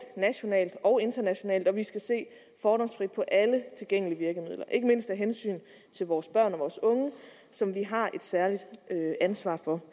nationalt og internationalt og vi skal se fordomsfrit på alle tilgængelige virkemidler ikke mindst af hensyn til vores børn og vores unge som vi har et særligt ansvar for